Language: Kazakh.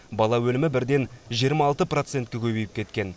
бала өлімі бірден жиырма алты процентке көбейіп кеткен